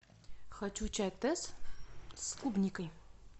хочу чай тесс с клубникой